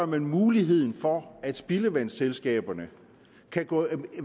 man muligheden for at spildevandsselskaberne kan